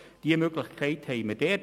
Diese Möglichkeit haben wir dort.